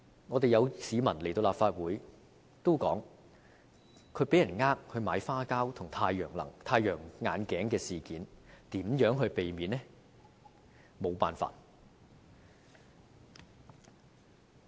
過去曾有市民到立法會向我們說被騙購買花膠和太陽眼鏡，如何避免這些事件呢？